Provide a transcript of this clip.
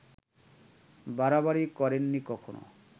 বাড়াবাড়ি করেননি কখন